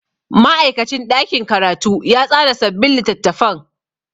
Ma'aikacin ɗakin karatu ya tsara sabbin littattafan.